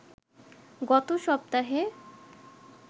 গত সপ্তাহে